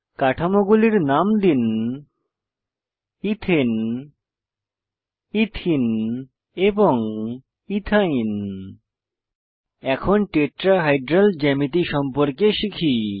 কাঠামোগুলির নাম দিন ethane ethene এবং ইথাইন এরপর টেট্রাহাইড্রাল জ্যামিতি সম্পর্কে শিখি